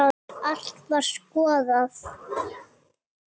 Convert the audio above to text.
Allt var skoðað.